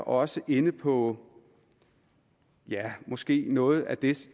også inde på ja måske netop noget af det